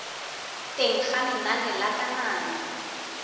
teng ga lenane la kananyo